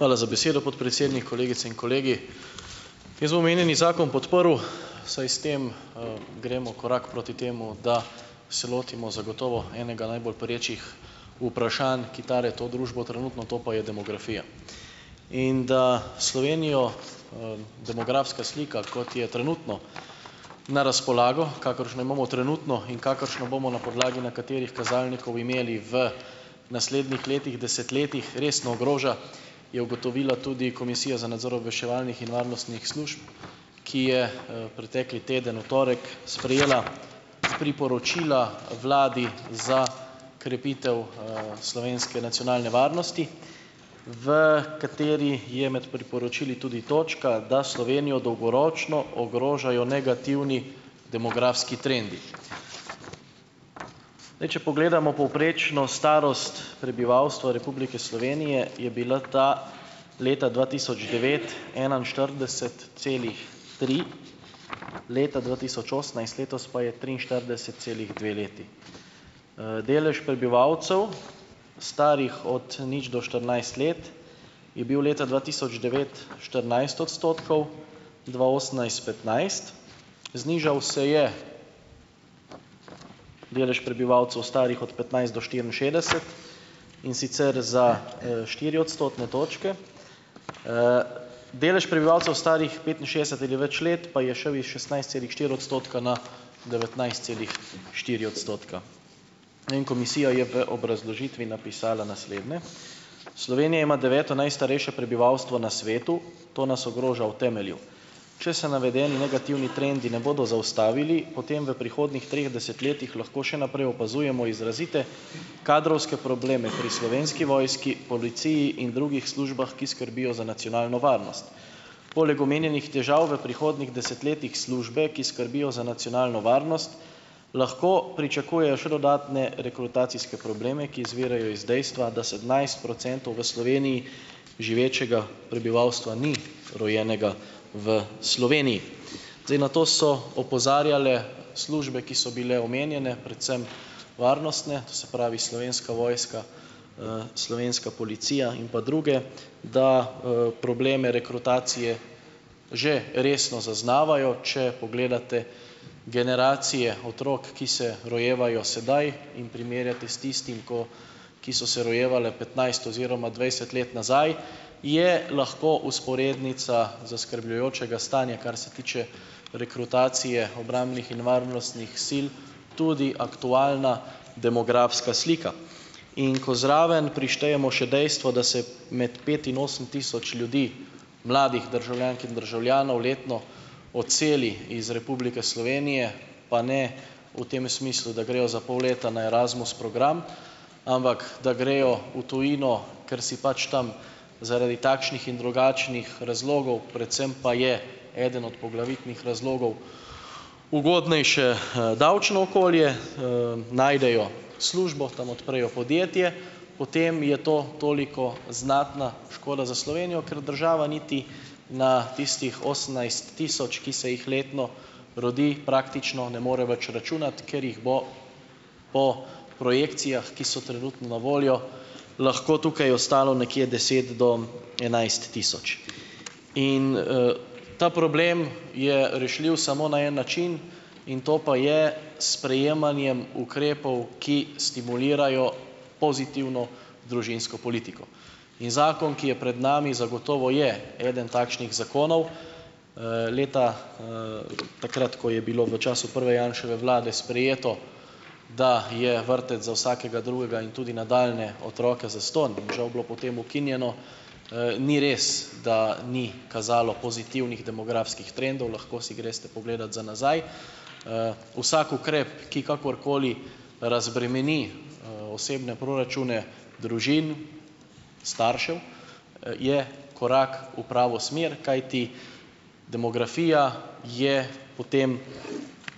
Hvala za besedo, podpredsednik. Kolegice in kolegi. Jaz bom omenjeni zakon podprl, saj s tem, gremo korak proti temu, da se lotimo zagotovo enega najbolj perečih vprašanj, ki tare to družbo trenutno, to pa je demografija. In da Slovenijo, demografska slika, kot je trenutno na razpolago, kakršno imamo trenutno in kakršno bomo na podlagi nekaterih kazalnikov imeli v naslednjih letih, desetletjih, resno ogroža, je ugotovila tudi Komisija za nadzor obveščevalnih in varnostnih služb, ki je, pretekli teden, v torek, sprejela priporočila vladi za krepitev, slovenske nacionalne varnosti, v katerih je med priporočili tudi točka, da Slovenijo dolgoročno ogrožajo negativni demografski trendi. Zdaj, če pogledamo povprečno starost prebivalstva Republike Slovenije, je bil ta leta dva tisoč devet enainštirideset celih tri, leta dva tisoč osemnajst, letos, pa je triinštirideset celih dve leti. Delež prebivalcev, starih od, nič do štirinajst let, je bil leta dva tisoč devet štirinajst odstotkov, dva osemnajst petnajst. Znižal se je delež prebivalcev, starih od petnajst do štiriinšestdeset, in sicer za, štiri odstotne točke. Delež prebivalcev, starih petinšestdeset ali več let, pa je šel iz šestnajst celih štiri odstotka na devetnajst celih štiri odstotka. Ne, in komisija je v obrazložitvi napisala naslednje: "Slovenija ima deveto najstarejše prebivalstvo na svetu. To nas ogroža v temelju. Če se navedeni negativni trendi ne bodo zaustavili, potem v prihodnjih treh desetletjih lahko še naprej opazujemo izrazite kadrovske probleme pri Slovenski vojski, policiji in drugih službah, ki skrbijo za nacionalno varnost. Poleg omenjenih težav v prihodnjih desetletjih službe, ki skrbijo za nacionalno varnost, lahko pričakujejo še dodatne rekrutacijske probleme, ki izvirajo iz dejstva, da sedemnajst procentov v Sloveniji živečega prebivalstva ni rojenega v Sloveniji." Zdaj, na to so opozarjale službe, ki so bile omenjene. Predvsem varnostne. To se pravi, Slovenska vojska, slovenska policija in pa druge. Da, probleme rekrutacije že resno zaznavajo. Če pogledate generacije otrok, ki se rojevajo sedaj, in primerjate s tistim, ko, ki so se rojevale petnajst oziroma dvajset let nazaj, je lahko vzporednica zaskrbljujočega stanja, kar se tiče rekrutacije obrambnih in varnostnih sil, tudi aktualna demografska slika. In ko zraven prištejemo še dejstvo, da se med pet in osem tisoč ljudi, mladih državljank in državljanov, letno odseli iz Republike Slovenije, pa ne v tem smislu, da grejo za pol leta na Erasmus program, ampak da grejo v tujino, ker si pač tam zaradi takšnih in drugačnih razlogov, predvsem pa je eden od poglavitnih razlogov ugodnejše, davčno okolje ,#eee, najdejo službo, tam odprejo podjetje, potem je to toliko znatna škoda za Slovenijo, ker država niti na tistih osemnajst tisoč, ki se jih letno rodi, praktično ne more več računati, ker jih bo po projekcijah, ki so trenutno na voljo, lahko tukaj ostalo nekje deset do enajst tisoč. In, ta problem je rešljiv samo na en način. In to pa je s sprejemanjem ukrepov, ki stimulirajo pozitivno družinsko politiko. In zakon, ki je pred nami, zagotovo je eden takšnih zakonov. Leta, takrat, ko je bilo v času prve Janševe vlade sprejeto, da je vrtec za vsakega drugega in tudi nadaljnje otroke zastonj, žal bilo potem ukinjeno, ni res, da ni kazalo pozitivnih demografskih trendov. Lahko si greste pogledat za nazaj. Vsak ukrep, ki kakorkoli razbremeni, osebne proračune družin, staršev, je korak v pravo smer, kajti demografija je potem